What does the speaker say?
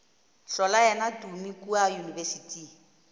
hlola yena tumi kua yunibesithing